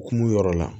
Kun yɔrɔ la